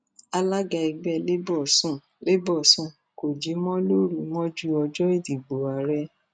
alága ẹgbẹ labour sùn labour sùn kò jí mọ lóru mọjú ọjọ ìdìbò ààrẹ